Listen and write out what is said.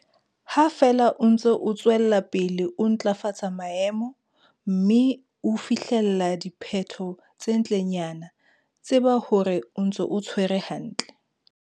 Ha feela o ntse o tswela pele ho ntlafatsa maemo, mme o fihlella diphetho tse ntlenyana, tseba hore o ntse o tshwere hantle.